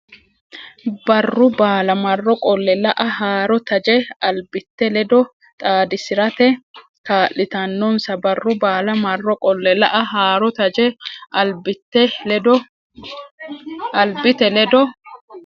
Barru baala marro qolle la a haaro taje albite ledo xaadisi rate kaa litannonsa Barru baala marro qolle la a haaro taje albite ledo.